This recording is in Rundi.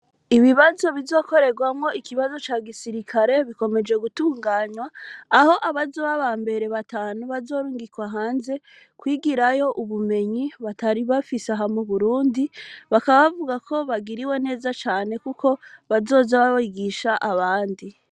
Ibi bazo bizokorerwamwo ikibazo ca gisirikare bikomeje gutunganywa aho abazo b'aba mbere batanu bazorungikwa hanze kwigirayo ubumenyi batari bafise ahamwe burundi bakabavuga ko bagiriwe neza cane, kuko bazoza babigisha abandi.